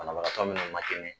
Banabagatɔ minnu ma